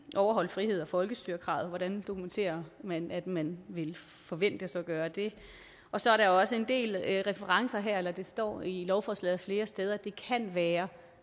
overholde frihed og folkestyre kravet hvordan dokumenterer man at man vil forventes at gøre det og så er der også en del referencer til eller det står i lovforslaget flere steder at det kan være